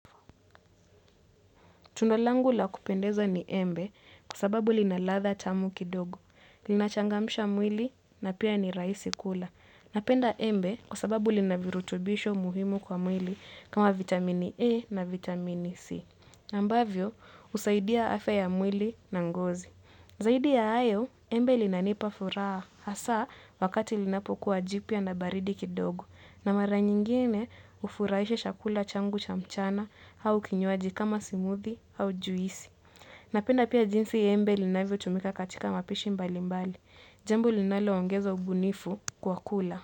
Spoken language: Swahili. Tunda langu la kupendeza ni embe kwa sababu lina ladha tamu kidogo. Linachangamsha mwili na pia ni rahisi kula. Napenda embe kwa sababu lina virutubisho muhimu kwa mwili kama vitamini E na vitamini C. Ambavyo, husaidia afya ya mwili na ngozi. Zaidi ya hayo embe linanipa furaha hasa wakati linapokuwa jipya na baridi kidogo na mara nyingine hufurahisha chakula changu cha mchana au kinywaji kama smoothie au juisi. Na penda pia jinsi embe linavyo tumika katika mapishi mbali mbali. Jambo linalo ongeza ubunifu kwa kula.